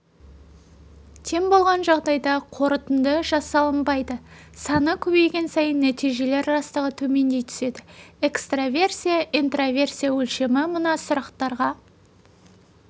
тең болған жағдайда қорытынды жасалынбайды саны көбейген сайын нәтижелер растығы төмендей түседі экстраверсия-интроверсия өлшемі мына сұрақтарға